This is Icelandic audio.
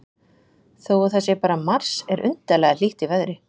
Þó að það sé bara mars er undarlega hlýtt í veðri.